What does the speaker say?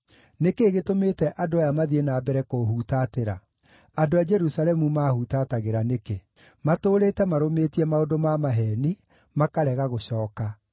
Nĩ kĩĩ gĩtũmĩte andũ aya mathiĩ na mbere kũũhutatĩra? Andũ a Jerusalemu maahutatagĩra nĩkĩ? Matũũrĩte marũmĩtie maũndũ ma maheeni, makarega gũcooka.